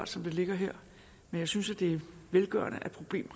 som det ligger her men jeg synes det er velgørende at problemet